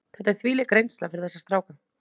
Þetta er þvílík reynsla fyrir þessa stráka.